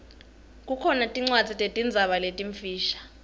kukhona tincwadzi tetinzaba letimfisha